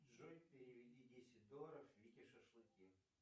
джой переведи десять долларов вике шашлыки